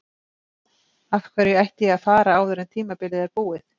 Af hverju ætti ég að fara áður en tímabilið er búið?